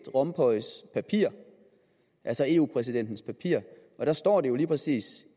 rompuys papir altså eu præsidentens papir og der står det jo lige præcis